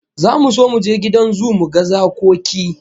Zamu so mu je gidan zoo mu ga zakoki